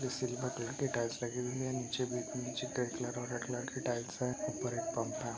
ये टाइल्स लगी हुई है। नीचे बिल्कुल नीचे टैंट लगा है। रेड लाइट की टल्स है। ऊपर एक पंखा --